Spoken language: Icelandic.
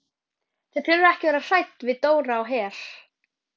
Þið þurfið ekki að vera hrædd við Dóra á Her.